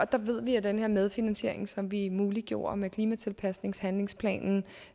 der ved vi at den her medfinansiering som vi muliggjorde med klimatilpasningshandlingsplanen